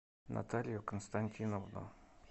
наталью константиновну